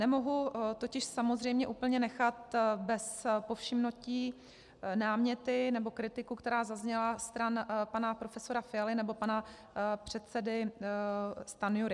Nemohu totiž samozřejmě úplně nechat bez povšimnutí náměty nebo kritiku, která zazněla stran pana profesora Fialy nebo pana předsedy Stanjury.